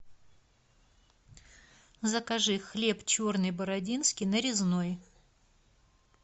закажи хлеб черный бородинский нарезной